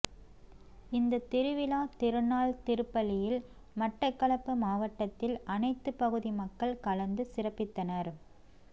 இந்த திருவிழா திருநாள் திருப்பலியில் மட்டக்களப்பு மாவட்டத்தின் அனைத்து பகுதி மக்கள் கலந்து சிறப்பித்தனர்